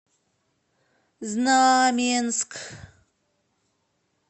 знаменск